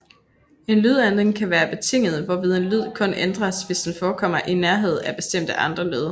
En lydændring kan være betinget hvorved en lyd kun ændres hvis den forekommer i nærhed af bestemte andre lyde